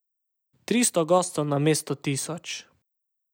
Tristo gostov namesto tisoč.